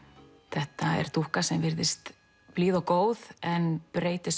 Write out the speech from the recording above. þetta er dúkka sem virðist blíð og góð en breytist